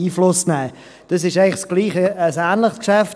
Dies ist ein ähnliches Geschäft.